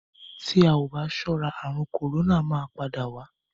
Tí a ò bá sọ́ra àrùn kòrónà máa padà wá.